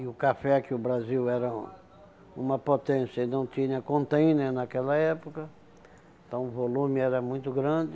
E o café que o Brasil era uma potência, ele não tinha contêiner naquela época, então o volume era muito grande.